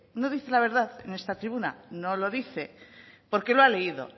no dice la verdad en esta tribuna no lo dice porque lo ha leído